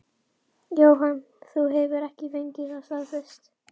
Jóhann: Þú hefur ekki fengið það staðfest?